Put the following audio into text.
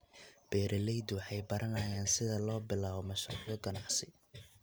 Beeraleydu waxay baranayaan sida loo bilaabo mashruucyo ganacsi.